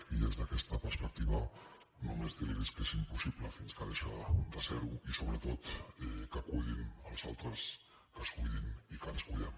i des d’aquesta perspectiva només dir los que tot és impossible fins que deixa de ser ho i sobretot que cuidin els altres que es cuidin i que ens cuidem